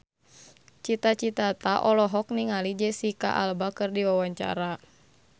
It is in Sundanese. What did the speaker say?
Cita Citata olohok ningali Jesicca Alba keur diwawancara